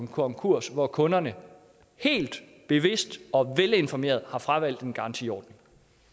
konkurs hvor kunderne helt bevidst og velinformeret har fravalgt en garantiordning